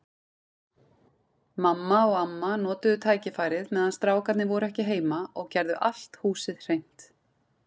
Mamma og amma notuðu tækifærið meðan strákarnir voru ekki heima og gerðu allt húsið hreint.